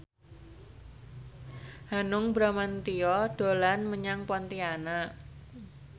Hanung Bramantyo dolan menyang Pontianak